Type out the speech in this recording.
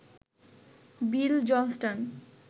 Bill Johnston